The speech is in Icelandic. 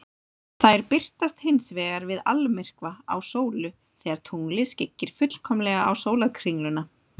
Þær birtast hins vegar við almyrkva á sólu, þegar tunglið skyggir fullkomlega á sólarkringluna.